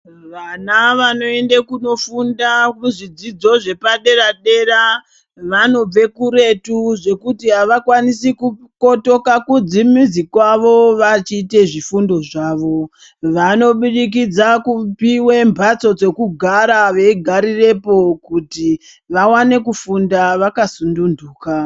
Vana vanoende kunofunda kuzvidzidzo zvepadera-dera vanobve kuretu zvekuti havakwanisi kukotoka kudzimizi kwavo vachite zvifundo zvavo. Vanobudikidza kupiva mbatso dzekugara veigarirepo kuti vavane kufunda vakasununduka.